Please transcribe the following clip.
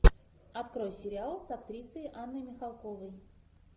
открой сериал с актрисой анной михалковой